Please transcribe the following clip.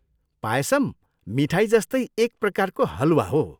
पायसम मिठाई जस्तै एक प्रकारको हलवा हो।